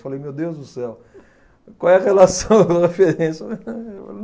Falei, meu Deus do céu, qual é a relação da referência?